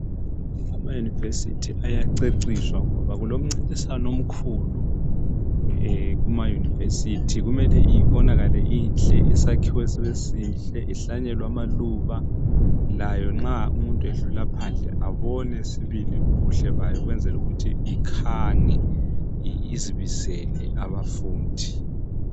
ama university ayaceciswa ngoba kulomncintiswano omkhulu kuma university kumele ibonakale inhle isakhiwo esihle ihlanyelwe amaluba layo nxa umuntu edlula phandle abone sibili ubuhle bayo ukwenzela ukuthi ikhanye izibisele abafundi